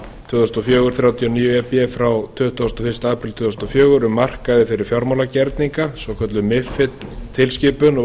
tvö þúsund og fjögur þrjátíu og níu e b frá tuttugasta og fyrsti apríl tvö þúsund og fjögur um markaði fyrir fjármálagerninga svokölluð mifid tilskipun